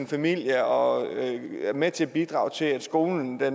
familie og er med til at bidrage til at skolen bliver